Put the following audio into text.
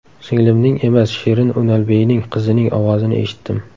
Singlimning emas, Shirin Unalbeyning qizining ovozini eshitdim.